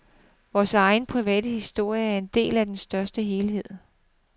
Vor egen private historie er en del af en større helhed.